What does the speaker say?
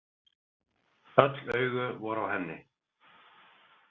Öll augu voru á henni.